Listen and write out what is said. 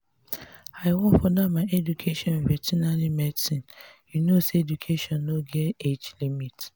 i wan further my education in vertinary medicine you no say education no get age limit